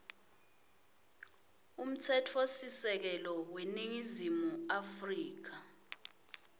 umtsetfosisekelo weningizimu afrika